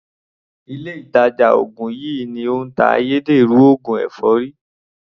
Ilé ìtàjà ògùn yìí ni ó ń ta ayédèrú oògùn èfọ́rí.